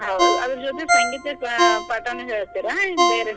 ಹೌದ್ ಅದ್ರ ಜೊತೆ ಸಂಗೀತ ಪಾಠಾನೂ ಹೇಳ್ತೀರಾ ಏನ್ ಬೇರೆ?